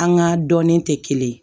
An ga dɔnnen tɛ kelen ye